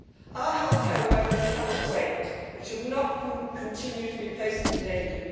Our healthcare workers cannot wait and should not continue to be placed in danger.